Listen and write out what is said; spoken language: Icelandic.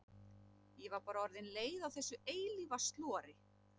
Ég var bara orðin leið á þessu eilífa slori.